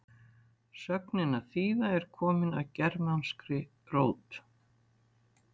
sögnin að þýða er komin af germanskri rót